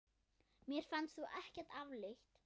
Mér fannst þú ekkert afleit!